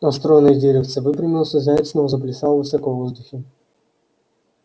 а стройное деревце выпрямилось и заяц снова заплясал высоко в воздухе